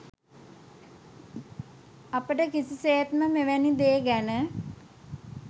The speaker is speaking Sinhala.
අපට කිසිසේත්ම මෙවැනි දේ ගැන